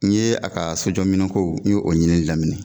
N ye a ka sojɔminɛn ko n y'o o ɲinini daminɛ